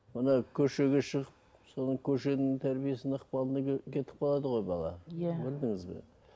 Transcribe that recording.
мынау көшеге шығып соның көшенің тәрбиесінің ықпалына кетіп қалады ғой бала иә көрдіңіз бе